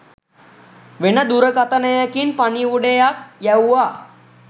වෙන දුරකථනයකින් පණිවුඩයක් යැව්වා